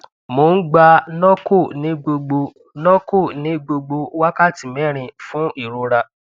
mo n gba norco ni gbogbo norco ni gbogbo wakati mẹrin fun irora